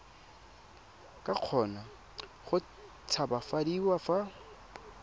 ka kgona go tshabafadiwa fa